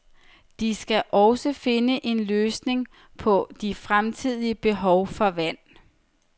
De skal også finde en løsning på de fremtidige behov for vand.